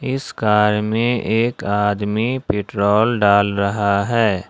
इस कर में एक आदमी पेट्रोल डाल रहा है।